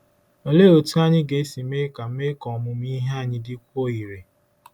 Olee otú anyị ga-esi mee ka mee ka ọmụmụ ihe anyị dịkwuo irè?